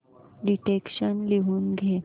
dictation लिहून घे